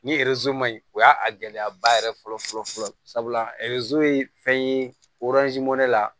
Ni ma ɲi o y'a a gɛlɛyaba yɛrɛ fɔlɔ fɔlɔ ye fɛn ye mɔnɛ la